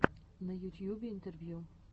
на ютьюбе интервью